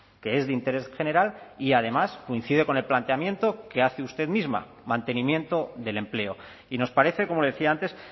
que es de interés general y además coincide con el planteamiento que hace usted misma mantenimiento del empleo y nos parece como le decía antes